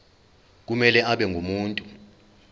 kumele abe ngumuntu